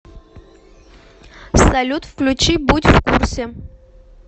салют включи будь в курсе